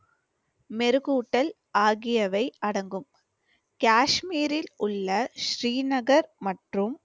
மெருகூட்டல் ஆகியவை அடங்கும். காஷ்மீரில் உள்ள ஸ்ரீநகர் மற்றும்